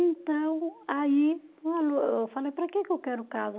Então, aí, eu falei, para quê que eu quero casa?